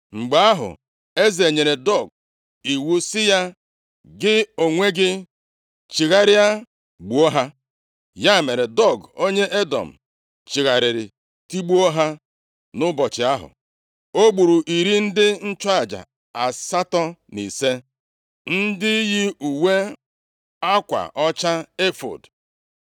Mgbe ahụ eze nyere Doeg iwu sị ya, “Gị onwe gị, chigharịa gbuo ha.” Ya mere, Doeg onye Edọm chigharịrị tigbuo ha. Nʼụbọchị ahụ, o gburu iri ndị nchụaja asatọ na ise, ndị yi uwe akwa ọcha efọọd.